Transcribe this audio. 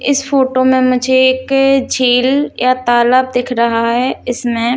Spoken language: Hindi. इस फ़ोटो में मुझे एक झील या तालाब दिख रहा है इसमें --